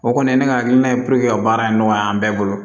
O kɔni ye ne ka hakilina ye ka baara in nɔgɔya an bɛɛ bolo